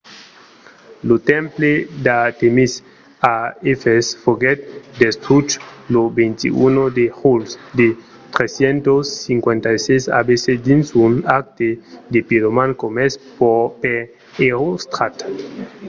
lo temple d'artèmis a efès foguèt destruch lo 21 de julh de 356 abc dins un acte de piroman comés per erostrat